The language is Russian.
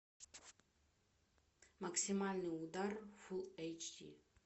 максимальный удар фул эйч ди